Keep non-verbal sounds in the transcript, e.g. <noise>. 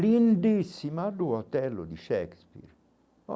Lindíssima do <unintelligible> de Shakespeare.